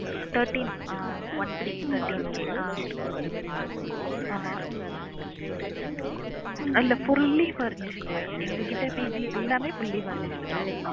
Thirteen ஆஹ் one three thirteen K ஆஹ் ஆமா இல்ல fully furnished எங்ககிட்ட PG எல்லாமே fully furnished தான்